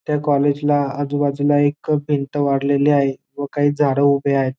त्या कॉलेज ला आजूबाजूला एक भिंत वाढलेली आहे व काही झाडं उभे आहेत.